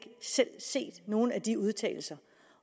selv set nogen af de udtalelser